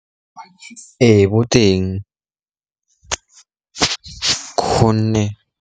Ee, bo teng gonne.